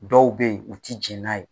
Dɔw bɛ yen u tɛ jɛn n'a ye.